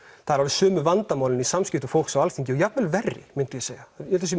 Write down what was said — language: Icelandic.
eru alveg sömu vandamálin í samskiptum fólks á Alþingi og jafnvel verri myndi ég segja ég held